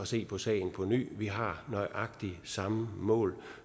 se på sagen på ny vi har nøjagtig samme mål